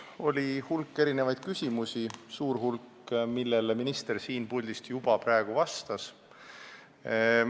Oli hulk erinevaid küsimusi, suurele hulgale neist minister siin puldis juba vastas.